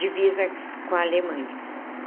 Divisa com a Alemanha.